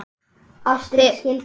Þið hafið misst mikið.